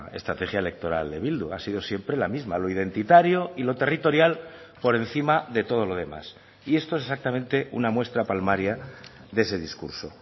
estrategia electoral de bildu ha sido siempre la misma lo identitario y lo territorial por encima de todo lo demás y esto es exactamente una muestra palmaria de ese discurso